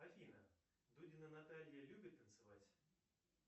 афина дудина наталья любит танцевать